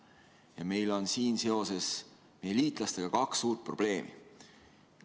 Ja meil on siin seoses meie liitlastega kaks suurt probleemi.